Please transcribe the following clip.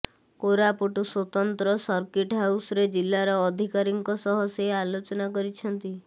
କୋରାପୁଟ ସ୍ୱତନ୍ତ୍ର ସର୍କିଟ ହାଉସରେ ଜିଲ୍ଲାର ଅଧିକାରୀଙ୍କ ସହ ସେ ଆଲୋଚନା କରିଛନ୍ତି